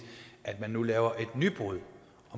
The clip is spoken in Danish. man nu laver et nybrud